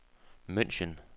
München